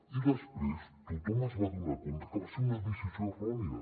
i després tothom es va adonar que va ser una decisió errònia